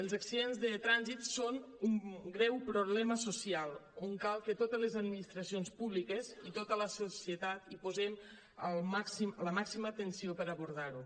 els accidents de trànsit són un greu problema social on cal que totes les administracions públiques i tota la societat hi posem la màxima atenció per abordar ho